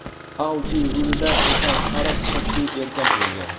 Audi rulida esa sariq sochli erkak bo‘lgan.